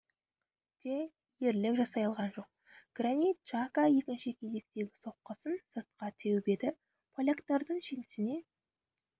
те ерлік жасай алған жоқ гранит джака екінші кезектегі соққысын сыртқа теуіп еді поляктардың жеңісіне